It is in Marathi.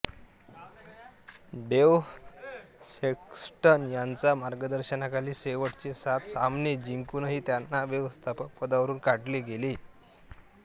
डेव सेक्स्टन यांचा मार्गदर्शनाखाली शेवटचे सात सामने जिंकुनही त्यांना व्यवस्थापक पदावरुन काढले गेले